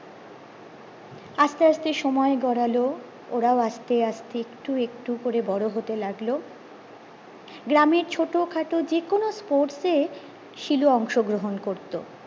আস্তে আস্তে সময় গড়লো ওরাও আস্তে আস্তে একটু একটু করে বড়ো হতে লাগলো গ্রামের ছোট খাটো যে কোনো sports এ শিলু অংশগ্রহণ করতো